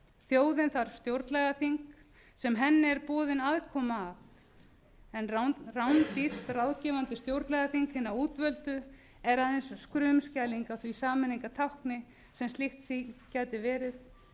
þjóðin þarf stjórnlagaþing sem henni er boðin aðkoma að en rándýrt ráðgefandi stjórnlagaþing hinna útvöldu er aðeins skrumskæling á því sameiningartákni sem slíkt þing gæti verið